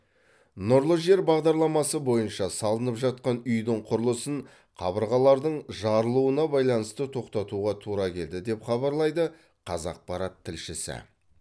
нұрлы жер бағдарламасы бойынша салынып жатқан үйдің құрылысын қабырғалардың жарылуына байланысты тоқтатуға тура келді деп хабарлайды қазақпарат тілшісі